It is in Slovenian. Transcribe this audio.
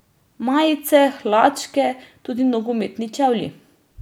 Majice, hlačke, tudi nogometni čevlji ...